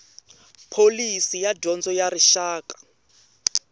pholisi ya dyondzo ya rixaka